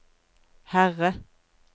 Herre